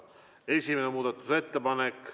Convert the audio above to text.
Esimene muudatusettepanek.